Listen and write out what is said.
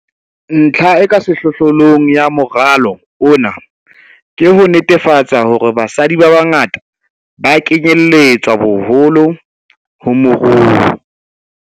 Ntlha e ka sehlohlolong ya moralo ona ke ho netefatsa hore basadi ba bangata ba kenyeletswa boholo mo moruo.